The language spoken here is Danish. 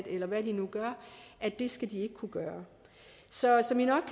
eller hvad de nu gør at det skal de ikke kunne gøre så som i nok